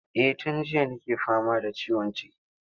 Eh tun jiya nake fama da ciwon ciki.